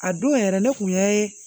A don yɛrɛ ne kun ye